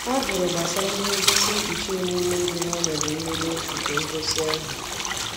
ọ jụrụ gbasara ihe ngosi nkpuchi emume dị n'ọnọdụ mmeghe nke ngosi ahụ